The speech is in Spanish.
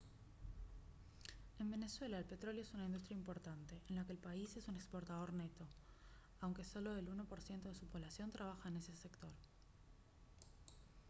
en venezuela el petróleo es una industria importante en la que el país es un exportador neto aunque solo el 1% de su población trabaja en este sector